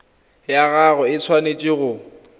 ya gago e tshwanetse go